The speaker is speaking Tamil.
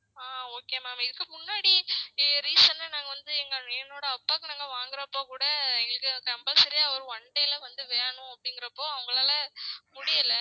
ஆஹ் okay ma'am இதுக்கு முன்னாடியே recent ஆ நாங்க வந்து நாங்க எங்க என்னோட அப்பாக்கு நாங்க வாங்குறப்ப கூடா எங்களுக்கு compulsory ஆ ஒரு one day ல வேணும் அப்டீங்குறப்போ அவங்களால முடியல